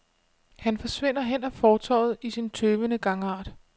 Han forsvinder hen ad fortovet i sin tøvende gangart.